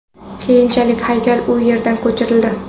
Keyinchalik haykal u yerdan ko‘chirildi.